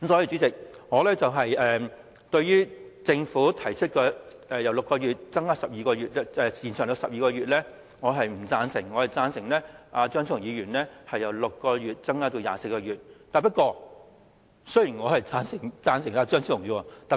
主席，對於政府提出把檢控時效由6個月延長至12個月，我是不贊成的，我支持張超雄議員提出的修正案，把時效由6個月延長至24個月。